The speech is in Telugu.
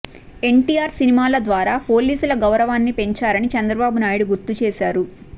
ఎన్టీఆర్ సినిమాల ద్వారా పోలీసుల గౌరవాన్ని పెంచారని చంద్రబాబు నాయుడు గుర్తుచేశారు